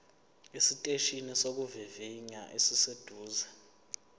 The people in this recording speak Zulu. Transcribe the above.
esiteshini sokuvivinya esiseduze